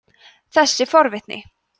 þessi forvitni